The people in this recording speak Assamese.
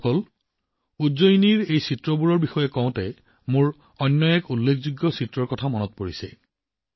বন্ধুসকল উজ্জয়িনীত এই চিত্ৰ নিৰ্মাণৰ কথা কওঁতে আন এখন অনন্য ছবিৰ কথা মনত পৰে